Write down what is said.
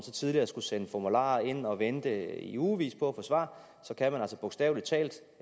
tidligere skulle sende formularer ind og vente i ugevis på at få svar så altså bogstavelig talt